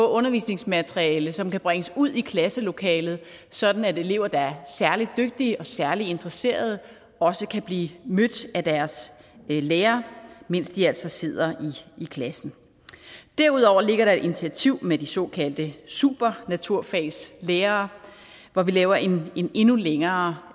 undervisningsmateriale som kan bringes ud i klasselokalet sådan at elever der er særlig dygtige og særlig interesserede også kan blive mødt af deres lærere mens de altså sidder i klassen derudover ligger der et initiativ med de såkaldte supernaturfagslærere hvor vi laver en endnu længere